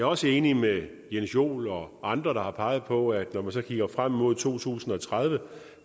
også enig med jens joel og andre der har peget på at når man så kigger frem mod to tusind og tredive